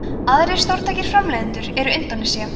aðrir stórtækir framleiðendur eru indónesía